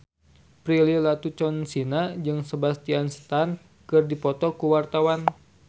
Prilly Latuconsina jeung Sebastian Stan keur dipoto ku wartawan